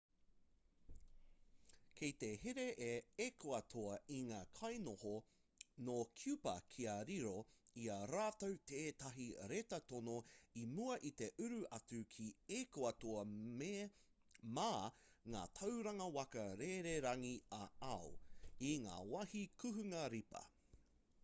kei te here a ekuatoa i ngā kainoho nō kiupa kia riro i a rātou tētahi reta tono i mua i te uru atu ki ekuatoa mā ngā tauranga waka rererangi ā-ao i ngā wāhi kuhunga ripa